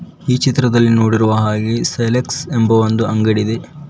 ಈ ಚಿತ್ರದಲ್ಲಿ ನೋಡಿರುವ ಹಾಗೆ ಸೆಲೆಕ್ಟ್ಸ್ ಎಂಬುವ ಒಂದು ಅಂಗಡಿಯಿದೆ.